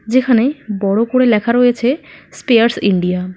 যেখানে বড় করে লেখা রয়েছে স্পেয়ারস ইন্ডিয়া ।